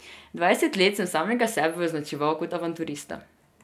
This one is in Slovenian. Dvajset let sem samega sebe označeval kot avanturista.